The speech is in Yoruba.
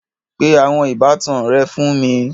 Pe àwọn ìbátan rẹ fún mi